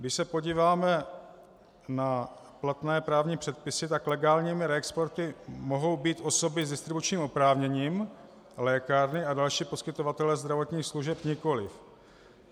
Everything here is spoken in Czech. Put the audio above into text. Když se podíváme na platné právní předpisy, tak legálními reexportéry mohou být osoby s distribučním oprávněním, lékárny a další poskytovatelé zdravotních služeb nikoliv.